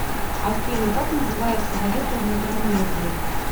афина как называется валюта в микронезии